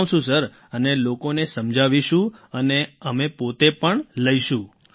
જણાવશું sir અને લોકોને સમજાવીશું અને અમે પોતે પણ લેશું